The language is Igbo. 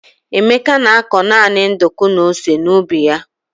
Emeka na-akọ naanị nduku na ose n'ubi ya.